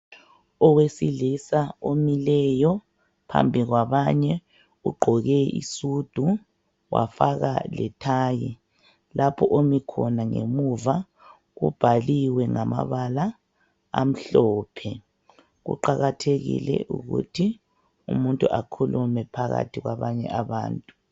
owesilisa omileyo phambi kwabanye ugqoke isudu wafaka le tie lapho omi khona ngemuva kubhaliwe ngamabala amhlophe kuqakathekile ukuthi umuntu akhulume phakathi kwabanye abantu